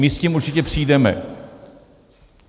My s tím určitě přijdeme.